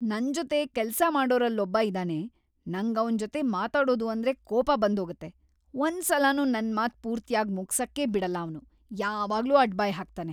ನನ್‌ ಜೊತೆ ಕೆಲ್ಸ ಮಾಡೋರಲ್ಲೊಬ್ಬ ಇದಾನೆ, ನಂಗವ್ನ್‌ ಜೊತೆ ಮಾತಾಡೋದು ಅಂದ್ರೆ ಕೋಪ ಬಂದೋಗತ್ತೆ, ಒಂದ್ಸಲನೂ ನನ್‌ ಮಾತ್‌ ಪೂರ್ತಿಯಾಗ್‌ ಮುಗ್ಸಕ್ಕೇ ಬಿಡಲ್ಲ ಅವ್ನು, ಯಾವಾಗ್ಲೂ ಅಡ್ಡಬಾಯ್‌ ಹಾಕ್ತಾನೆ.